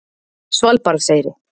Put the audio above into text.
Svalbarðseyri